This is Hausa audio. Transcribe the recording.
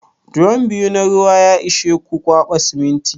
Drom biyu na ruwa ya ishe ku kwaɓa siminti?